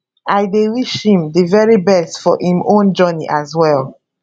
i dey wish him di very best for im own journey as well